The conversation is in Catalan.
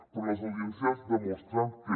però les audiències demostren que